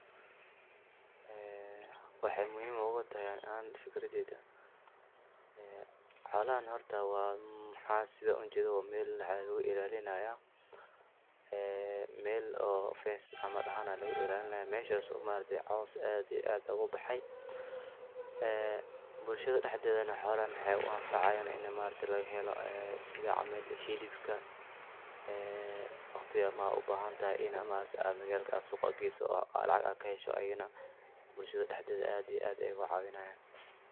Ee waxay muhim ugutahay an fikradeyda ee xolahan horta waxa sidha ujedha wa meel lagu ilalinaya ee mel oo fense cml ahaan oo lagu ilalinayo meshas ee cowska aad iya aad ugubaxay ee bulshadha daxdethana wa xolaha u anfacayan ina maaragti lagahelo ee sidha cml hilibka ee waqtiga aad ubahantahay magalka ee suuqa geysa oo lacag aa kahesho iyidhana bulshadha daxdetha ee aad iya aad ugu caawinayan.